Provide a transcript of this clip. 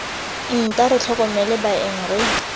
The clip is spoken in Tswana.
nta re tlhokomele baeng re